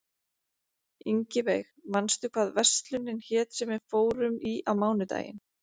Ingiveig, manstu hvað verslunin hét sem við fórum í á mánudaginn?